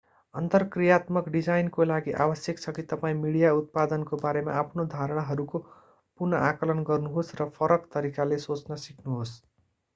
अन्तर्क्रियात्मक डिजाइनको लागि आवश्यक छ कि तपाईं मिडिया उत्पादनको बारेमा आफ्ना धारणाहरूको पुनः आंकलन गर्नुहोस् र फरक तरिकाले सोच्न सिक्नुहोस्